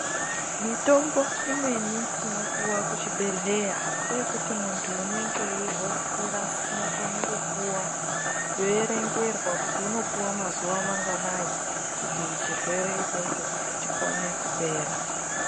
Mitombo imweni inopiwa kuchibhedheleya ngeyekuti muntu unenge eyi hotsira unokone kupuwa oyerengerwa kuti unopuwa mazuwa manganai kuti chirwere ichocho chikone kupera.